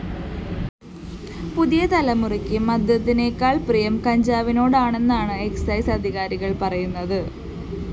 പുതിയ തലമുറയ്ക്ക് മദ്യത്തിനേക്കാള്‍ പ്രിയം കഞ്ചാവിനോടാണെന്നാണ് എക്സൈസ്‌ അധികാരികള്‍ പറയുന്നത്